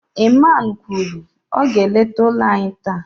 Iman kwuru, ọ ga-eleta ụlọ anyị taa